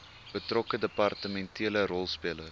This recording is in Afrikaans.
betrokke departementele rolspelers